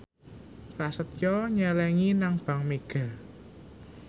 Prasetyo nyelengi nang bank mega